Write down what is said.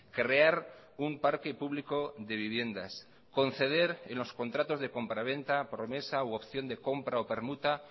crear un parque público de viviendas conceder en los contratos de compraventa promesa u opción de compra o permuta